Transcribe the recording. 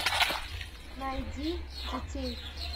найди детей